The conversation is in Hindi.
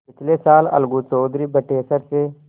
पिछले साल अलगू चौधरी बटेसर से